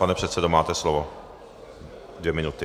Pane předsedo, máte slovo, dvě minuty.